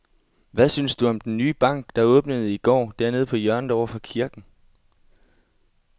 Hvad synes du om den nye bank, der åbnede i går dernede på hjørnet over for kirken?